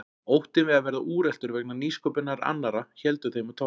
Óttinn við að verða úreltur vegna nýsköpunar annarra héldi þeim á tánum.